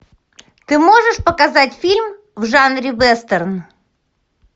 ты можешь показать фильм в жанре вестерн